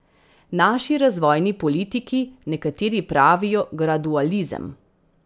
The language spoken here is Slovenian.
Naši razvojni politiki nekateri pravijo gradualizem.